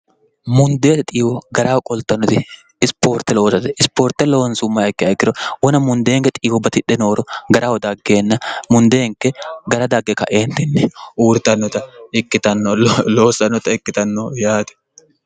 mundeete xiiwo garaho qoltannoti isipoorte loosate isipoorte loonsummayikke aegiro wona mundeenke xiiwo batidhe nooro garaho daggeeenna mundeenke gara dagge kaeentinni uurtoikioloossannota ikkitanno yaati